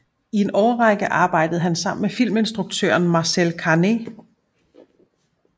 I en årrække arbejdede han sammen med filminstruktøren Marcel Carné